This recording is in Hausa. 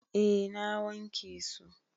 Eh na wanke su.